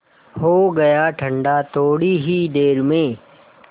हो गया ठंडा थोडी ही देर में